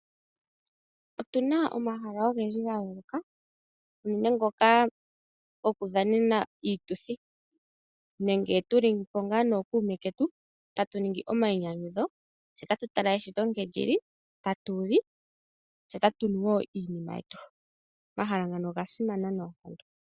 Otuna omahala ogendji ga yooloka unene ngoka gokudhanena iituthi nenge tu li po ngaa nookuume ketu tatu ningi omayinyanyudho tse tatu tala eshito nkene lili, tatu li, tse tatu nu wo iinima yetu. Omahala ngano oga simana noonkondo.